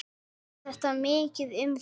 Segir þetta mikið um þig.